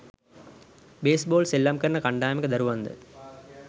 base ball සෙල්ලම් කරන කණ්ඩායමක දරුවන්ද